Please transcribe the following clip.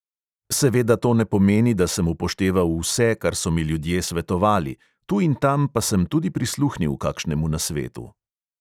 Seveda to ne pomeni, da sem upošteval vse, kar so mi ljudje svetovali, tu in tam pa sem tudi prisluhnil kakšnemu nasvetu.